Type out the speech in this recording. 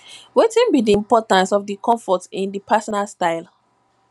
wetin be di importance of comfort in di personal style